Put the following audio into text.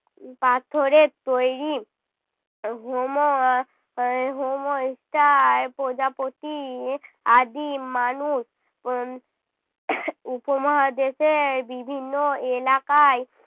উহ পাথরের তৈরী। হোমো আহ হোমো প্রজাপতি আদিম মানুষ উহ উপমহাদেশের বিভিন্ন এলাকায়